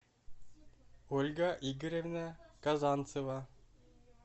ольга игоревна казанцева